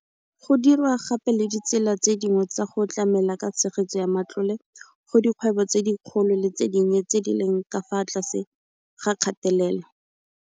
Go dirwa gape le ditsela tse dingwe tsa go tlamela ka tshegetso ya matlole go dikgwebo tse dikgolo le tse dinnye tse di leng ka fa tlase ga kgatelelo.